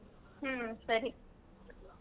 ಹ್ಮ್ ಸರಿ.